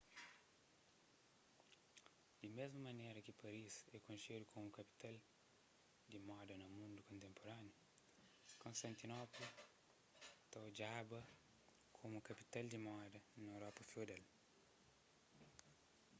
di mésmu manera ki paris é konxedu komu kapital di moda na mundu kontenpuraniu konstantinopla ta odjada komu kapital di moda na europa feudal